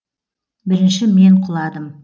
бірінші мен құладым